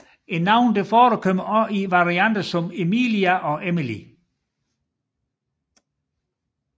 Navnet forekommer også i varianter som Emilia og Emily